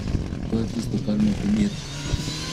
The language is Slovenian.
To je tisto, kar me pomirja.